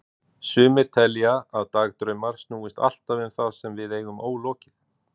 Sumir telja að dagdraumar snúist alltaf um það sem við eigum ólokið.